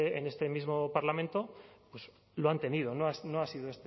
en este mismo parlamento pues lo han tenido no ha sido